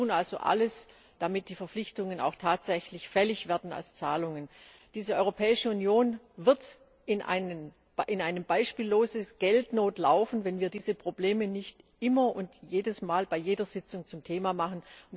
Wir tun also alles, damit die Verpflichtungen auch tatsächlich als Zahlungen fällig werden. Diese Europäische Union wird in eine beispiellose Geldnot laufen, wenn wir diese Probleme nicht immer und jedes Mal bei jeder Sitzung zum Thema machen.